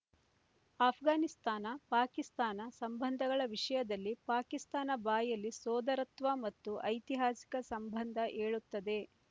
ಅಫ್ಘಾನಿಸ್ತಾನ ಪಾಕಿಸ್ತಾನ ಸಂಬಂಧಗಳ ವಿಷಯದಲ್ಲಿ ಪಾಕಿಸ್ತಾನ ಬಾಯಲ್ಲಿ ಸೋದರತ್ವ ಮತ್ತು ಐತಿಹಾಸಿಕ ಸಂಬಂಧ ಹೇಳುತ್ತದೆ